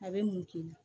A bɛ mun k'i la